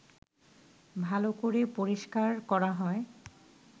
ভালো করে পরিষ্কার করা হয়